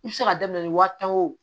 I bɛ se ka daminɛ ni wari ta ye o